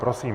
Prosím.